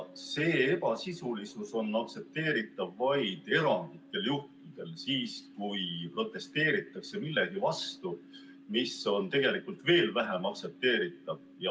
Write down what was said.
See ebasisulisus on aktsepteeritav vaid erandlikel juhtudel, siis, kui protesteeritakse millegi vastu, mis on tegelikult veel vähem aktsepteeritav.